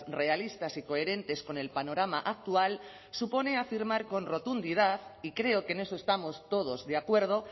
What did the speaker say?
realistas y coherentes con el panorama actual supone afirmar con rotundidad y creo que en eso estamos todos de acuerdo